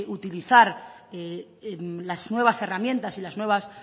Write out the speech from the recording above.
utilizar las nuevas herramientas y las nuevas